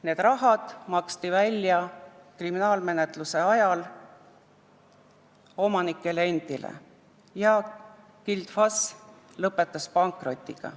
See raha maksti kriminaalmenetluse ajal välja omanikele endile ja Gild FAS lõpetas pankrotiga.